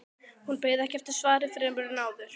Hún beið ekki eftir svari fremur en áður.